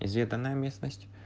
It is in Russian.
изведанная местность